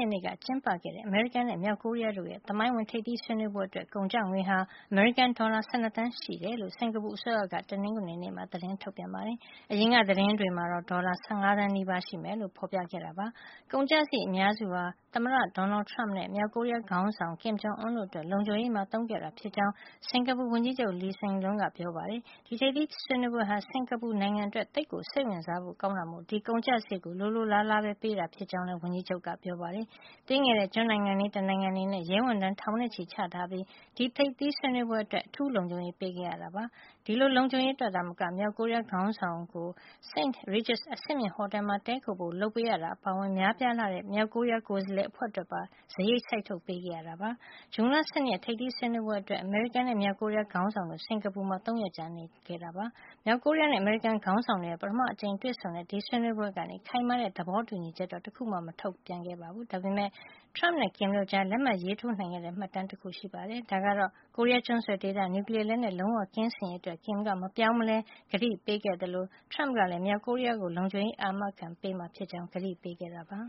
က်နေ့က ကျင်းပတဲ့ အမေရိကန်နဲ့ မြောက်ကိုရီးယား သမိုင်းဝင် ထိပ်သီးဆွေးနွေး ပွဲအတွက် ကုန်ကျငွေဟာ အမေရိကန် ဒေါ်လာ ၁၂ သန်းရှိတယ်လို့ စင်္ကာပူအစိုးရက တနင်္ဂနွေနေ့မှာ သတင်းထုတ်ပြန်ပါတယ်။ အရင်က သတင်းတွေမှာတော့ ဒေါ်လာ ၁၅ သန်းနီးပါး ရှိမယ်လို့ ဖော်ပြခဲ့တာ ဖြစ်ပါတယ်။ ကုန်ကျစရိတ်အများစုဟာ အမေရိကန်သမ္မတ Donald Trump နဲ့ မြောက်ကိုရီးယားခေါင်းဆောင် Kim Jong Un တို့အတွက် လုံခြုံရေးပိုင်းမှာ သုံးခဲ့တာဖြစ်ကြောင်း စင်္ကာပူဝန်ကြီးချုပ် Lee Hsien Loong ကပြောပါတယ်။ ဒီထိပ်သီးဆွေးနွေးပွဲဟာ စင်္ကာပူနိုင်ငံအတွက် သိပ်ကိုစိတ်ဝင်စားဖို့ကောင်းတာမို့ ဒီကုန်ကျစရိတ်ကို လိုလိုလားလားပဲ ပေးတာဖြစ်ကြောင်း စင်္ကာပူဝန်ကြီးချုပ်ကပြောပါတယ်။ သေးငယ်တဲ့ ကျွန်းနိုင်ငံလေး တနိုင်ငံအနေနဲ့ ရဲဝန်ထမ်း ထောင်နဲ့ချီချထားပြီး ဒီထိပ်သီးဆွေးနွေးပွဲအတွက် အထူးလုံခြုံရေး ပေးခဲ့ရတာပါ။ ဒီလို လုံခြုံရေးအတွက်သာမက မြောက်ကိုရီးယားခေါင်းဆောင် Kim Jong Un ကို St. Regis အဆင့်မြင့်ဟော်တယ်မှာ တည်းခိုဖို့ လုပ်ပေးတာ အပါအဝင် များပြားလှတဲ့ မြောက်ကိုရီးယား ကိုယ်စားလှယ်အဖွဲ့အတွက်ပါ စရိတ် စိုက်ထုတ်ပေးခဲ့ရတာဖြစ်ပါတယ်။ ဇွန်လ ၁၂ ရက် ထိပ်သီးဆွေးနွေးပွဲအတွက် အမေရိကန်နဲ့ မြောက်ကိုရီးယား ခေါင်းဆောင်တို့ စင်္ကာပူမှာ ၃ ရက်ကြာ နေခဲ့ကြတာပါ။ မြောက်ကိုရီးယားနဲ့ အမေရိကန်ခေါင်းဆောင်တို့ရဲ့ ပထမဆုံးအကြိမ်တွေ့ဆုံတဲ့ ဒီဆွေးနွေးပွဲကနေ ခိုင်မာတဲ့ သဘောတူညီချက်တခုမှ မထုတ်ပြန်ခဲ့ပေမဲ့လည်း Trump နဲ့ Kim တို့ကြား လက်မှတ်ရေးထိုးနိုင်ခဲ့တဲ့ မှတ်တမ်းတခု ရှိခဲ့ပါတယ်။ အဲဒါကတော့ ကိုရီးယားကျွန်းဆွယ်ဒေသမှာ နျူကလီးယားလက်နက် လုံးဝကင်းစင်ရေးအတွက် Kim က မပြောင်းမလဲ ခိုင်ခိုင်မာမာ ကတိပေးခဲ့သလို Trump ကလည်း မြောက်ကိုရီးယားကို လုံခြုံရေးအာမခံပေးမှာ ဖြစ်ကြောင်း ကတိပေးခဲ့ပါ